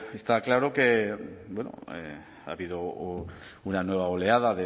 está claro que bueno ha habido una nueva oleada